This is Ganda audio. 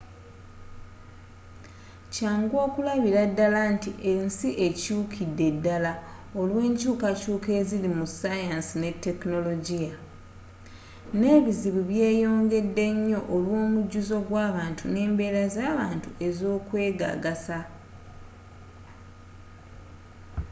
kyangu okulabira ddala nti ensi ekyukidde ddala olwenkyukakyuka eziri mu saayansi ne tekinologiya nebizibu byeyongedde nyo olwomujuzo gwabantu nembeera zabantu ezokwegagasa